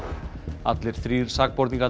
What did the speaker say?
allir þrír sakborningarnir